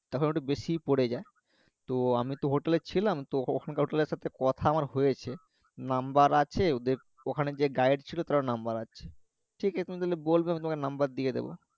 তখন একটু বেশি পরে যায় তো আমি তো hotel এ ছিলাম তো ওখানকার hotel এর কথা আমার হয়েছে নাম্বার আছে ওদের ওখানে যে guide ছিল তরো নাম্বার আছে ঠিকাছে তুমি তাহলে বলবে আমি তোমাকে নাম্বার দিয়ে দেব